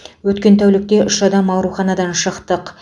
өткен тәулікте үш адам ауруханадан шықтық